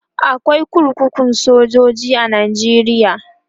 akwai kurkukun sojoji a nigeria